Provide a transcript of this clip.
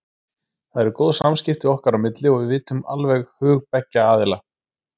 Það eru góð samskipti okkar á milli og við vitum alveg hug beggja aðila.